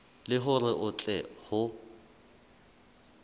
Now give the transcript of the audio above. le hore ho tle ho